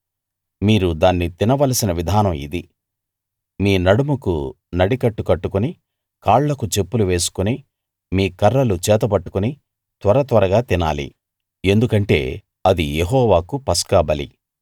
మీరు దాన్ని తినవలసిన విధానం ఇది మీ నడుముకు నడికట్టు కట్టుకుని కాళ్ళకు చెప్పులు వేసుకుని మీ కర్రలు చేతబట్టుకుని త్వరత్వరగా తినాలి ఎందుకంటే అది యెహోవాకు పస్కా బలి